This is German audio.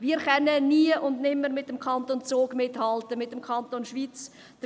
Wir können nie und nimmer mit dem Kanton Zug oder mit dem Kanton Schwyz mithalten.